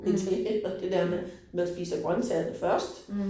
Italienerne det der med man spiser grøntsagerne først